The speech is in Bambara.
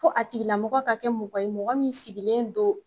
Ko a tigila mɔgɔ ka kɛ mɔgɔ ye mɔgɔ min sigilen don